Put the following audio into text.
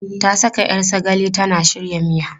Ta saka 'yar sagale tana shirya miya.